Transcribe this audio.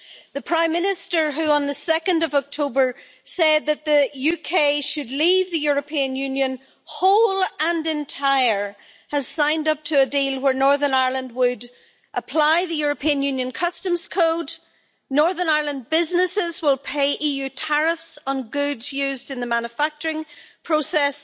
The Prime Minister, who on 2 October said that the UK should leave the European Union, whole and entire, has signed up to a deal where Northern Ireland would apply the European Union Customs Code and Northern Ireland businesses would pay EU tariffs on goods used in the manufacturing process.